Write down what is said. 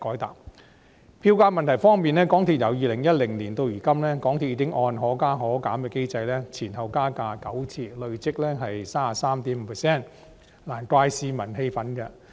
在票價問題方面，由2010年至今，港鐵公司已按"可加可減"機制調升票價9次，累積升幅 33.5%， 難怪市民感到氣憤。